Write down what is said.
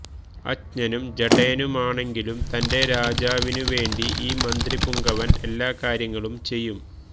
അജ്ഞനും ജഡേനുമാണെങ്കിലും തന്റെ രാജാവിനുവെണ്ടി ഈ മന്ത്രിപുംഗവന് എല്ലാക്കാര്യങ്ങളും ചെയ്യും